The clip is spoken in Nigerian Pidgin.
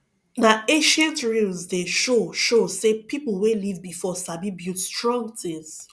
na ancient ruins dey show show say people wey live before sabi build strong things